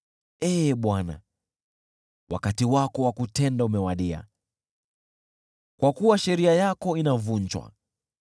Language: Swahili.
Ee Bwana , wakati wako wa kutenda umewadia, kwa kuwa sheria yako inavunjwa.